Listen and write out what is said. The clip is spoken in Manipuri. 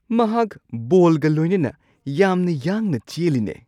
ꯃꯍꯥꯛ ꯕꯣꯜꯒ ꯂꯣꯏꯅꯅ ꯌꯥꯝꯅ ꯌꯥꯡꯅ ꯆꯦꯜꯂꯤꯅꯦ!